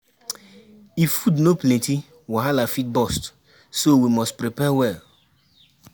If food no plenty, wahala fit burst, so we must prepare well.